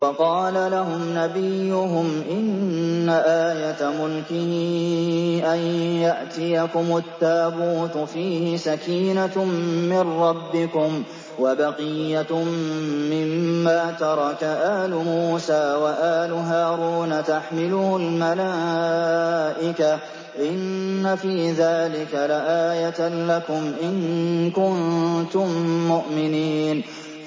وَقَالَ لَهُمْ نَبِيُّهُمْ إِنَّ آيَةَ مُلْكِهِ أَن يَأْتِيَكُمُ التَّابُوتُ فِيهِ سَكِينَةٌ مِّن رَّبِّكُمْ وَبَقِيَّةٌ مِّمَّا تَرَكَ آلُ مُوسَىٰ وَآلُ هَارُونَ تَحْمِلُهُ الْمَلَائِكَةُ ۚ إِنَّ فِي ذَٰلِكَ لَآيَةً لَّكُمْ إِن كُنتُم مُّؤْمِنِينَ